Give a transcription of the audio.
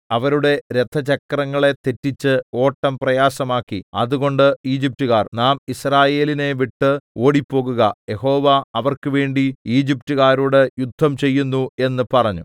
അവരുടെ രഥചക്രങ്ങളെ തെറ്റിച്ച് ഓട്ടം പ്രയാസമാക്കി അതുകൊണ്ട് ഈജിപ്റ്റുകാർ നാം യിസ്രായേലിനെ വിട്ട് ഓടിപ്പോകുക യഹോവ അവർക്ക് വേണ്ടി ഈജിപ്റ്റുകാരോട് യുദ്ധം ചെയ്യുന്നു എന്ന് പറഞ്ഞു